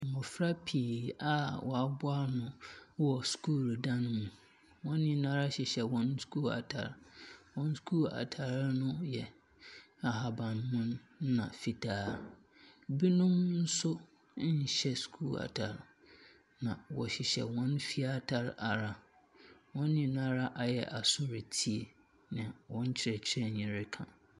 Mmofra pii a woaboa ano wɔ sukuu dan mu. Wɔn nyinaa hyehyɛ sukuu atare. Wɔn sukuu ataare no yɛ ahabanmono na fitaa. Ebinom so nhyɛ sukuu atare. Na wɔhyehyɛ wɔn fie atare ara. Wɔn nyinaa ara ayɛ aso retie nea wɔn kyerɛkyerɛni no reka no.